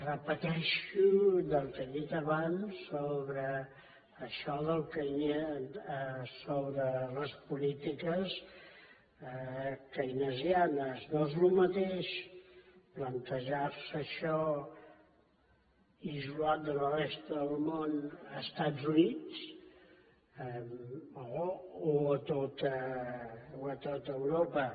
repeteixo el que he dit abans sobre les polítiques keynesianes no és el mateix plantejar se això isolat de la resta del món als estats units o a tot europa